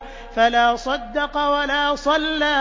فَلَا صَدَّقَ وَلَا صَلَّىٰ